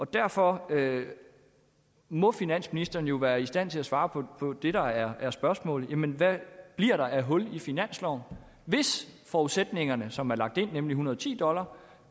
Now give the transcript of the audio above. derfor må finansministeren jo være i stand til at svare på det der er er spørgsmålet nemlig hvad der bliver af hul i finansloven hvis de forudsætninger som er lagt ind nemlig en hundrede og ti dollar